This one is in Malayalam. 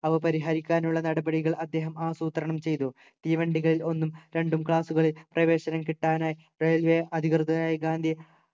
അവ പരിഹരിക്കാനുള്ള നടപടികൾ അദ്ദേഹം ആസൂത്രണം ചെയ്തു തീവണ്ടികളിൽ ഒന്നും രണ്ടും class കളിൽ പ്രവേശനം കിട്ടാനായി railway അധികൃതരായി ഗാന്ധിയെ